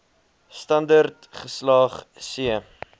standerd geslaag c